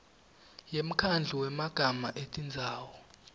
yemkhandlu wemagama etindzawo